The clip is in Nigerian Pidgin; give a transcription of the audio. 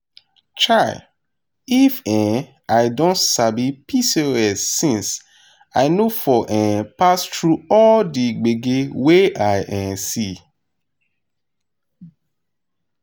chai! if um i don sabi pcos since i no for um pass through all the gbege wey i um see.